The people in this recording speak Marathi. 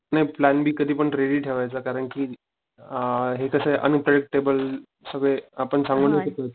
नाही प्लॅन बी कधी पण रेडी ठरवायचं कारण कि, आ हे कशे अनप्रेडिक्टेबल सगळे आपण सांगू नाही शकत